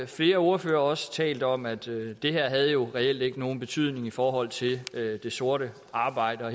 flere ordførere også talt om at det det her jo reelt ikke havde nogen betydning i forhold til det sorte arbejde og